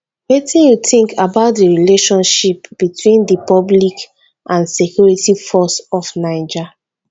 wetin you think about di relationship between di public and security forces of naija